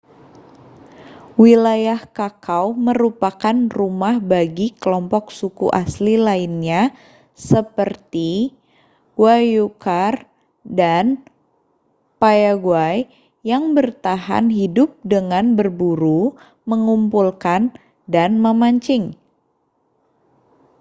wilayah chaco merupakan rumah bagi kelompok suku asli lainnya seperti guaycurãº dan payaguã¡ yang bertahan hidup dengan berburu mengumpulkan dan memancing